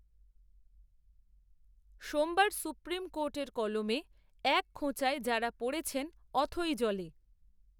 সোমবার সুপ্রিম কোর্টের কলমে এক খোঁচায় যাঁরা পড়েছেন অথৈ জলে